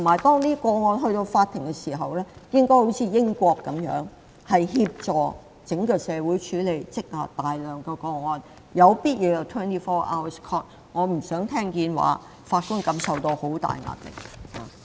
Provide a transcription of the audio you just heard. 當法庭接手處理這些個案時，應效法英國，協助整個社會處理這大量積壓的個案，必要時法庭可24小時運作。